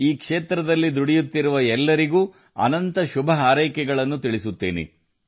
ಈ ಕ್ಷೇತ್ರದಲ್ಲಿ ದುಡಿಯುತ್ತಿರುವ ಎಲ್ಲರಿಗೂ ಶುಭ ಹಾರೈಸುತ್ತೇನೆ